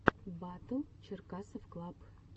батл черкасовклаб